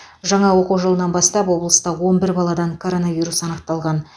жаңа оқу жылынан бастап облыста он бір баладан коронавирус анықталған